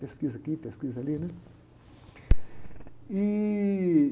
Pesquisa aqui, pesquisa ali, né? Ih...